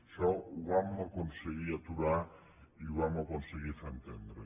això ho vam aconseguir aturar i ho vam aconseguir fer entendre